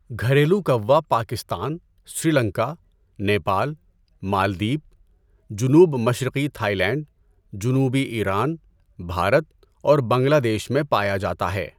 گھریلو کوا پاکستان، سری لنکا، نیپال، مالدیپ، جنوب مشرقی تھائی لینڈ، جنوبی ایران، بھارت اور بنگلہ دیش میں پایا جاتا ہے۔